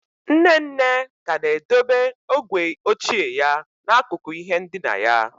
Nne nne ka na-edobe ogwe ochie ya n'akụkụ ihe ndina ya.